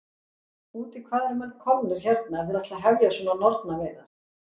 Út í hvað eru menn komnir hérna ef þeir ætla að hefja svona nornaveiðar?